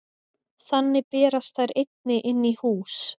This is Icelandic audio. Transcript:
Þannig berast þær einnig inn í hús.